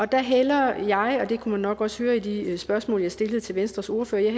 der hælder jeg og det kunne man nok også høre i de spørgsmål jeg stillede til venstres ordfører